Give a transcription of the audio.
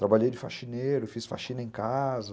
Trabalhei de faxineiro, fiz faxina em casa.